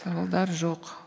сауалдар жоқ